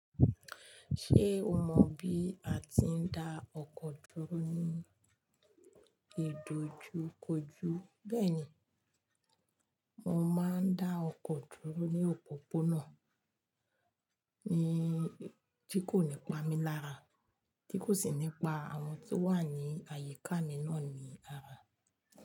Ṣé o mọ bí a ti ń dá ọkọ̀ dúró ní ìdojúkojú? Bẹ́ẹ̀ni, mo máa ń dá ọkọ̀ dúró ní òpòpónà tí kò ní pa mí lára, tí kò sì ní pa àwọn tó wà ní àyíká mi náà ní ara.